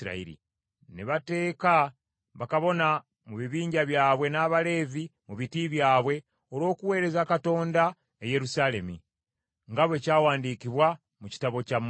Ne bateeka bakabona mu bibinja byabwe n’Abaleevi mu biti byabwe olw’okuweereza Katonda e Yerusaalemi, nga bwe kyawandiikibwa mu kitabo kya Musa.